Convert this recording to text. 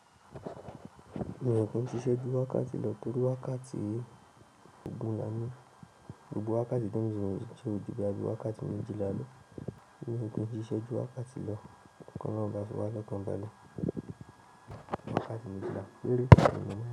Mio rò pé ó ń ṣiṣẹ́ ju wákàtí lọ torí wákàtí ogún la ní. Ògùn wákàtí dún ìsinmi ṣe ò díbà bí i wákàtí méjìlá ló. Ní ìpín, ṣíṣe ju wákàtí lọ kan lọ́ba fún wákàtí ọ̀kan balẹ̀ wákàtí méjìlá lórí.